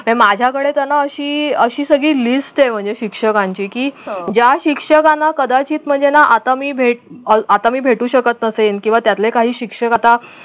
ते माझ्या कडे त्यांना अशी अशी सगळी list आहे म्हणजे शिक्षकांची की ज्या शिक्षकांना कदाचित म्हणजे ना आता मी भेट आता मी भेटू शकत असें किंवा त्यातले काही शिक्षक आता